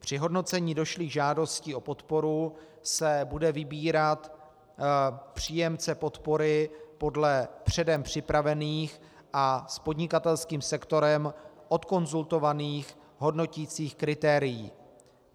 Při hodnocení došlých žádostí o podporu se bude vybírat příjemce podpory podle předem připravených a s podnikatelským sektorem odkonzultovaných hodnoticích kritérií.